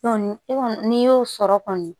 e kɔni n'i y'o sɔrɔ kɔni